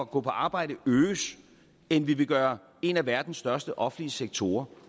gå på arbejde øges end vi vil gøre en af verdens største offentlige sektorer